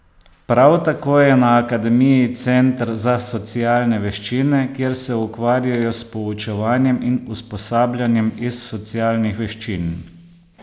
Prav tako je na akademiji center za socialne veščine, kjer se ukvarjajo s poučevanjem in usposabljanjem iz socialnih veščin.